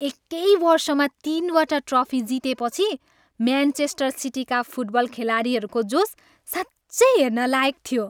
एकै वर्षमा तिनवटा ट्रफी जितेपछि म्यानचेस्टर सिटीका फुटबल खेलाडीहरूको जोस साँच्चै हेर्न लायक थियो।